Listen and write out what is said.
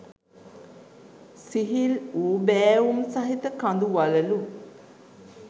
සිහිල් වූ බෑවුම් සහිත කඳු වළලු